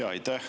Aitäh!